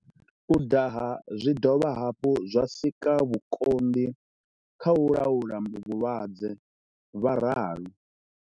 U daha zwi dovha hafhu zwa sika vhukonḓi kha u laula vhulwadze, vha ralo.